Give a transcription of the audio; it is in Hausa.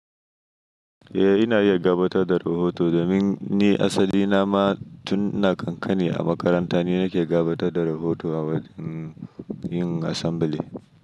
Eh, ina iya gabatar da rahoto domin ni asali na ma tun ina ƙanƙani a makaranta ni nake gabatar da rahoto a wurin yin assembly.